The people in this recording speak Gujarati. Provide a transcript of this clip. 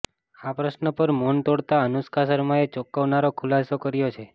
આ પ્રશ્ન પર મૌન તોડતા અનુષ્કા શર્માએ ચોંકાવનારો ખુલાસો કર્યો છે